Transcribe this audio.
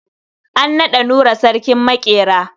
An naɗa Nura sarkin maƙera.